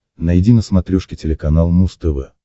найди на смотрешке телеканал муз тв